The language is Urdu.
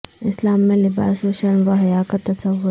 اسلام میں لباس و شرم و حیا کا تصور